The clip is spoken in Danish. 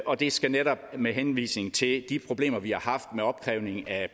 og det sker netop med henvisning til de problemer vi har haft med opkrævning af